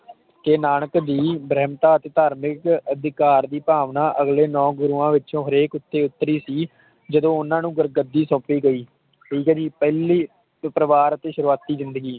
ਕੇ ਨਾਨਕ ਦੀ ਗ੍ਰੰਥਾਂ ਤੇ ਧਾਰਮਿਕ ਅਧਿਕਾਰ ਦੀ ਭਾਵਨਾ ਅਗਲੇ ਨੌ ਗੁਰੂਆਂ ਵਿੱਚੋ ਹਰੇਕ ਉਤੇ ਉਤਰੀ ਸੀ ਜਦੋ ਓਹਨਾ ਨੂੰ ਗੁਰੂ ਗੱਦੀ ਸੋਂਪੀ ਗਈ ਠੀਕ ਆ ਜੀ ਪਹਿਲੀ ਸੀ ਪਰਿਵਾਰ ਦੀ ਸ਼ੁਰੂਵਾਤੀ ਜਿੰਦਗੀ